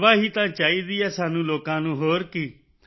ਸੇਵਾ ਹੀ ਤਾਂ ਚਾਹੀਦੀ ਹੈ ਸਾਨੂੰ ਲੋਕਾਂ ਨੂੰ ਹੋਰ ਕੀ